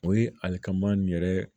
O ye alikamani yɛrɛ ye